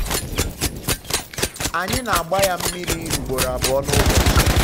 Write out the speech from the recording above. anyị na-agba ya mmiri ugboro um abụọ n'ụbọchị.